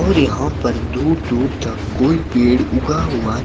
और यहां पर दूर दूर तक कोई पेड़ उगा हुआ--